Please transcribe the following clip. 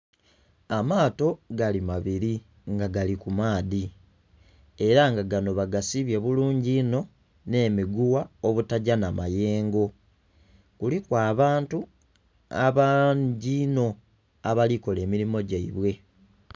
Amaato gali mabiri nga gali ku maadhi ela nga gano bagasibye bulungi inho n'emiguwa obutagya n'amayengo. Kuliku abantu bangi inho abali kola emirimo gyaibwe.